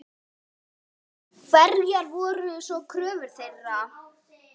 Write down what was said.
Hverjar voru svo kröfur þeirra?